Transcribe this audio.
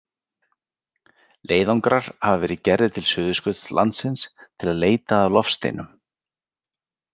Leiðangrar hafa verið gerðir til Suðurskautslandsins til að leita að loftsteinum.